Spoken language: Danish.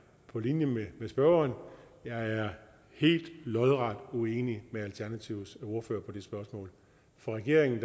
på linje med spørgeren jeg er lodret uenig med alternativets ordfører i det spørgsmål for regeringen